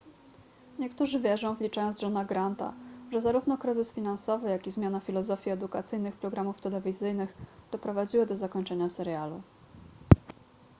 niektórzy wierzą wliczając johna granta że zarówno kryzys finansowy jak i zmiana filozofii edukacyjnych programów telewizyjnych doprowadziły do zakończenia serialu